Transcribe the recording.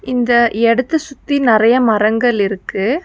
இந்த இடத்த சுத்தி நெறைய மரங்கள் இருக்கு.